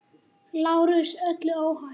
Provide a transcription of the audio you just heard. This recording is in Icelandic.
Fyrir framan Iðnó.